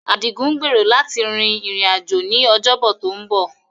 Adigun gbèrò láti rin ìrìn-àjò ní Ọjọ́bọ tó ń bọ̀.